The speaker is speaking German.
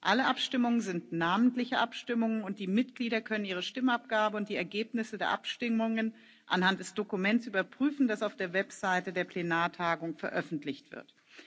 Alle Abstimmungen sind namentliche Abstimmungen, und die Mitglieder können ihre Stimmabgabe und die Ergebnisse der Abstimmungen anhand des Dokuments überprüfen, das auf der Website der Plenartagung veröffentlicht wird.